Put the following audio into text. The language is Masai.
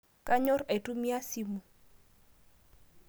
Kanyor aitumiai simu